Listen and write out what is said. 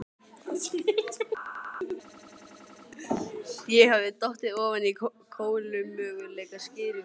Ég hafði dottið ofan á kolómögulega skýringu.